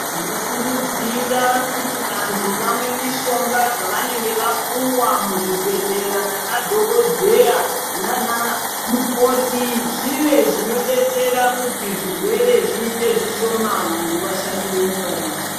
Ndinokurudzira kuti vantu vamwe mishonga dzavanenge vapiwa kuzvibhedhlera nemadhokodhera nana mukoti zvive zvinobetsera kuti zvirwere zviite zvishoma .Vantu vashandire nyika yavo.